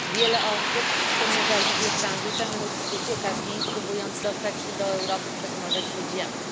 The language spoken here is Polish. Wiele osób przemierza Libię tranzytem lub ucieka z niej, próbując dostać się do Europy przez Morze Śródziemne.